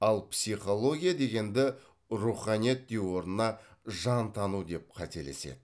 ал психология дегенді руханият деу орнына жантану деп қателеседі